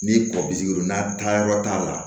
Ni kɔ bi sigi n'a taayɔrɔ t'a la